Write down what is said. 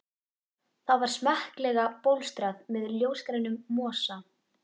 Það var smekklega bólstrað með ljósgrænum mosa.